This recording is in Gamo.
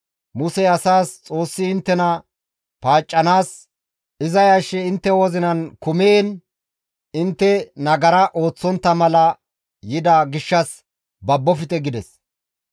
Musey asaas, «Xoossi inttena paaccanaas, iza yashshi intte wozinan kumiin intte nagara ooththontta mala yida gishshas babbofte» gides.